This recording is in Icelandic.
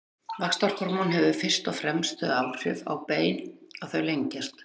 Vaxtarhormón hefur fyrst og fremst þau áhrif á bein að þau lengjast.